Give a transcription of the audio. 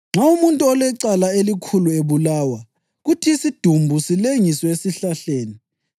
“Nxa umuntu olecala elikhulu ebulawa kuthi isidumbu silengiswe esihlahleni,